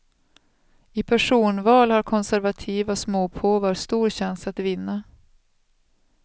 I personval har konservativa småpåvar stor chans att vinna.